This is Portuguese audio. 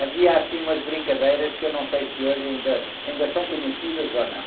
Havia assim umas brincadeiras que eu não sei se hoje ainda, ainda são conhecidas ou não.